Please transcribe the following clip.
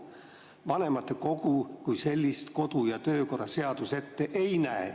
Vanematekogu kui sellist kodu‑ ja töökorra seadus ette ei näe.